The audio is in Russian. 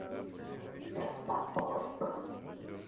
распаковка